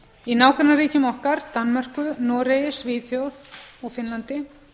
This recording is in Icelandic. í nágrannaríkjum okkar danmörku noregi svíþjóð og finnlandi